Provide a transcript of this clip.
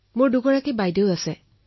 মোৰ দুজনী বাইদেউ আছে